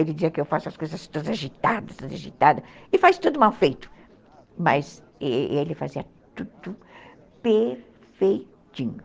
Ele dizia que eu faço as coisas todas agitadas, e faz tudo mal feito, mas ele fazia tudo perfeitinho.